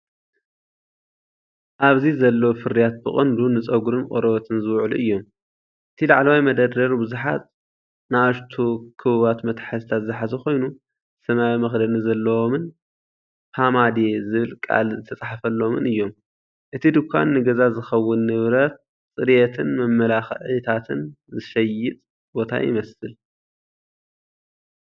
ኣብዚ ዘለዉ ፍርያት ብቐንዱ ንጸጉርን ቆርበትን ዝውዕሉ እዮም። እቲ ላዕለዋይ መደርደሪ ብዙሓት ንኣሽቱ ክቡባት መትሓዚታት ዝሓዘ ኮይኑ፡ ሰማያዊ መኽደኒ ዘለዎምን "ፖማዴ" ዝብል ቃል ዝተጻሕፈሎምን እዮም። እቲ ድኳን ንገዛ ዝኸውን ንብረት ጽሬትን መመላኽዒታትን ዝሸይጥ ቦታይመስል።